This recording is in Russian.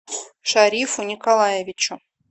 шарифу николаевичу